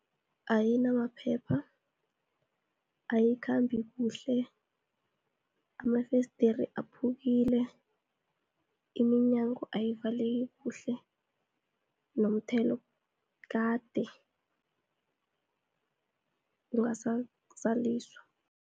Ayinamaphepha, ayikhambi kuhle, amafesdere aphukile, iminyango ayivaleki kuhle, nomthelo kade ungasazaliswa.